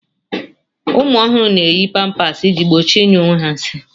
ụmụ ọhụrụ na-eyi pampers iji gbochie ịnyụ onwe ha nsị